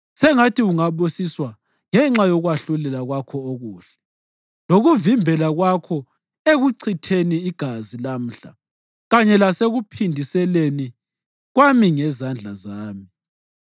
Sengathi ungabusiswa ngenxa yokwahlulela kwakho okuhle lokuvimbela kwakho ekuchitheni igazi lamhla kanye lasekuphindiseleni kwami ngezandla zami.